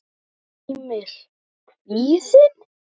Heimir: Kvíðinn?